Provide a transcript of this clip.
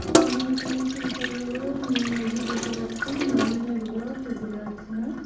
আমি এখানে একটি বিশাল বড়ো ন-দী দেখতে পাচ্ছি নদী না ডোবা-বা ঠিক বোঝা যাচ্ছে না.